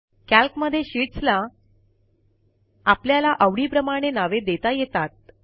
कॅल्कमध्ये sheets ला आपल्याला आवडीप्रमाणे नावे देता येतात